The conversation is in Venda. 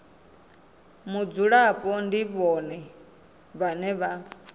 mudzulapo ndi vhone vhane vha